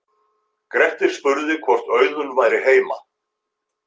Grettir spurði hvort Auðunn væri heima.